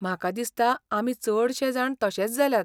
म्हाका दिसता आमी चडशेजाण तशेच जाल्यात.